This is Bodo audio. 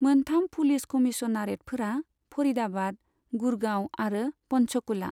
मोनथाम पुलिस कमिसनारेतफोरा फरिदाबाद, गुड़गाव आरो पन्चकुला।